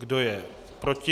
Kdo je proti?